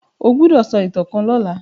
o gbódò so ìtàn kán lọla.